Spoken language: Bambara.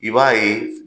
I b'a ye